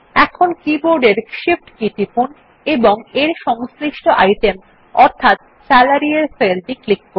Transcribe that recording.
এখন কীবোর্ডের shift key টিপুন এবং এর সংশ্লিষ্ট আইটেম অর্থাৎ সালারি এর সেলটি ক্লিক করুন